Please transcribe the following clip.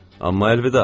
Amma əlvida.